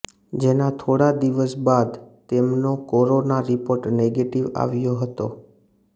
જેના થોડા દિવસ બાદ તેમનો કોરોના રિપોર્ટ નેગેટીવ આવ્યો હતો